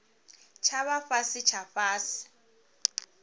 tsha vha fhasi tsha fhasi